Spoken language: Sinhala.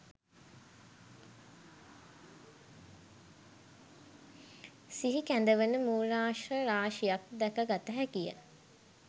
සිහිකැඳවන මූලාශ්‍ර රාශියක් දැකගත හැකිය.